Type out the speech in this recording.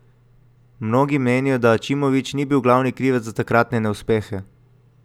Mnogi menijo, da Aćimović ni bil glavni krivec za takratne neuspehe.